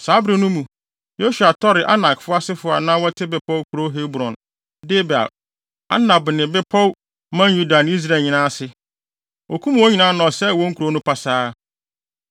Saa bere no mu, Yosua tɔree Anak asefo a na wɔte bepɔw nkurow Hebron, Debir, Anab ne bepɔw man Yuda ne Israel nyinaa ase. Okum wɔn nyinaa na ɔsɛee wɔn nkurow no pasaa.